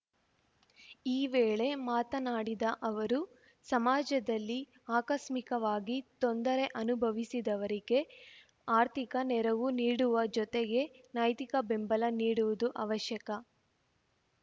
ಈ ವೇಳೆ ಮಾತನಾಡಿದ ಅವರು ಸಮಾಜದಲ್ಲಿ ಆಕಸ್ಮಿಕವಾಗಿ ತೊಂದರೆ ಅನುಭವಿಸಿದವರಿಗೆ ಆರ್ಥಿಕ ನೆರವು ನೀಡುವ ಜೊತೆಗೆ ನೈತಿಕ ಬೆಂಬಲ ನೀಡುವುದು ಅವಶ್ಯಕ